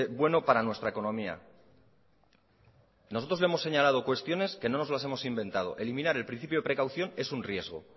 bueno para nuestra economía nosotros le hemos señalado cuestiones que no nos las hemos inventado eliminar el principio de precaución es un riesgo